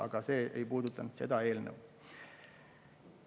Aga see ei puuduta seda eelnõu.